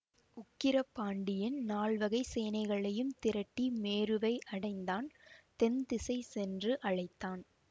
உக்கிர பாண்டியன் நால்வகைச் சேனைகளையும் திரட்டி மேருவை அடைந்தான் தென் திசை சென்று அழைத்தான்